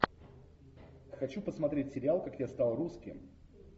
хочу посмотреть сериал как я стал русским